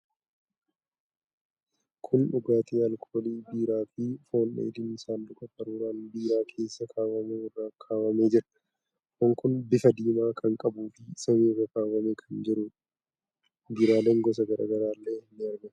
Kun dhugaatii alkoolii biiraa fi foon dheedhiin saanduqa qaruuraan biiraa keessa kaawwamu irra kaawwamee jira. Foon kun bifa diimaa kan qabuu fi saanii irra kaawwamee kan jiruudha. Biiraaleen gosa garaa garaallee ni argamu.